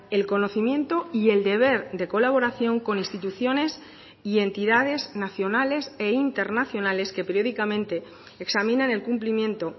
el conocimiento y el deber de colaboración con instituciones y entidades nacionales e internacionales que periódicamente examinan el cumplimiento